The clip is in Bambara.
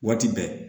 Waati bɛɛ